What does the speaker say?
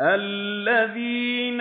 الَّذِينَ